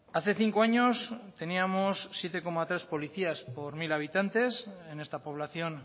hace cinco años teníamos siete coma tres policías por mil habitantes en esta población